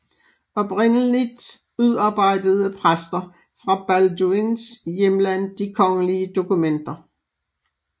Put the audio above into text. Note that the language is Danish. Oprindeligt udarbejdede præster fra Balduins hjemland de kongelige dokumenter